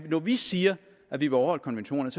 når vi siger at vi vil overholde konventionerne